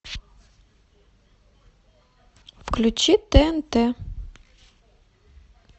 включи тнт